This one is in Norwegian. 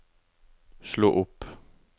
slå opp